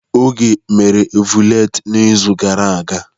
Oge mere ọvụletị n'izu gara aga.